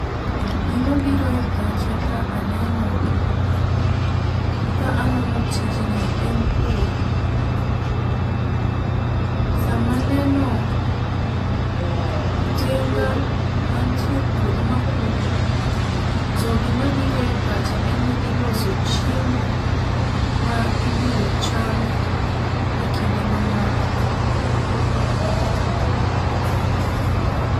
Gima biro e pacha ka aneno, ka anono tijni en pur. Sama neno tinga mantie e puodho ma puro to gima biro e pacha en ni ilos chiemo ma ibiro cham e kinde mamoko.